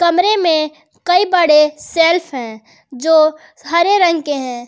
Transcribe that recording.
कमरे में कई बड़े सेल्फ है जो हरे रंग के हैं।